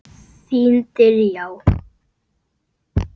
Þín Diljá.